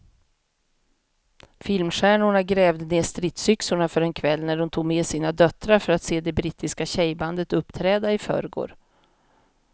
Filmstjärnorna grävde ned stridsyxorna för en kväll när de tog med sina döttrar för att se det brittiska tjejbandet uppträda i förrgår.